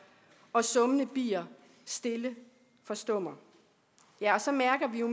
og summende bier stille forstummer ja og så mærker vi jo